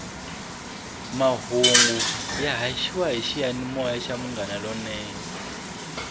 mahungu ya haxiwa hi xiyanimoya xa munghana lonene